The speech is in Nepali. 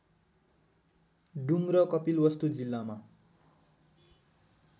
डुम्र कपिलवस्तु जिल्लामा